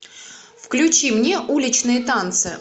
включи мне уличные танцы